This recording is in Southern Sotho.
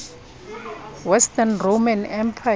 western roman empire